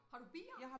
Har du bier?